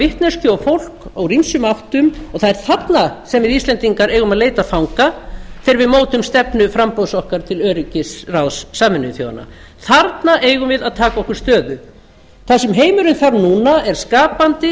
vitneskju og fólk úr ýmsum áttum og það er þarna sem við íslendingar eigum að leita fanga þegar við mótum stefnu framboðs okkar til öryggisráðs sameinuðu þjóðanna þarna eigum við að taka okkur stöðu það sem heimurinn þarf núna er skapandi